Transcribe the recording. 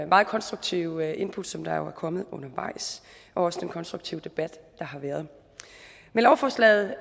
meget konstruktive input som der jo er kommet undervejs og også den konstruktive debat der har været med lovforslaget